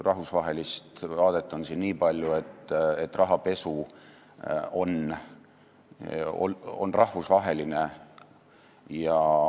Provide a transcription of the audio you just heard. Rahvusvahelist vaadet on siin niipalju, et rahapesu on rahvusvaheline.